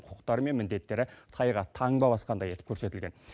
құқықтары мен міндеттері тайға таңба басқандай етіп көрсетілген